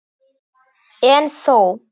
En þó.